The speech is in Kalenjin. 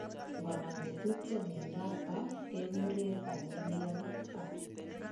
Ngonam chetupcho miondap pah kekure familial pah